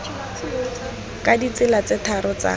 ka ditsela tse tharo tsa